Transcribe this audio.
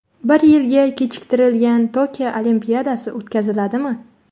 Bir yilga kechiktirilgan Tokio Olimpiadasi o‘tkaziladimi?